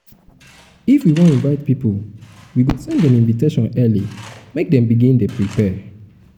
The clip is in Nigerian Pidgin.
if we wan invite pipo we go send dem invitation early make dem begin dey prepare.